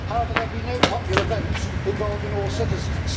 However, there will be no popular vote involving all citizens.